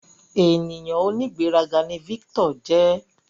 Ènìyàn onigberaga ní Victor jẹ